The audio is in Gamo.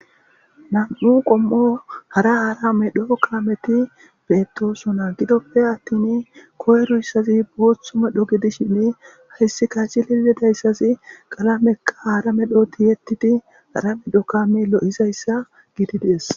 Nam'u qommo hara hara medho kalameti beettosona gidoppe attin koyruyssazi booththu medho gidishinni hessika cilili dayssazi qalamekka hara medhooti yettidi hara medho kame lo'izayssa gidi dies.